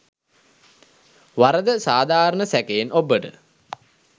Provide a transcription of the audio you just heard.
වරද සාධාරණ සැකයෙන් ඔබ්බට